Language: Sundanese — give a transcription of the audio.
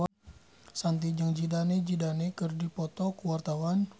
Shanti jeung Zidane Zidane keur dipoto ku wartawan